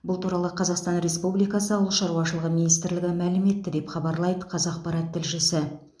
бұл туралы қазақстан республикасы ауыл шаруашылығы министрлігі мәлім етті деп хабарлайды қазақпарат тілшісі